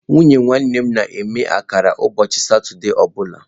Nwunye nwanne m na-eme akara ụbọchị Satọde ọ bụla